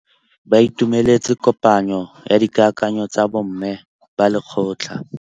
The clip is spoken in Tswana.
Ba itumeletse kôpanyo ya dikakanyô tsa bo mme ba lekgotla.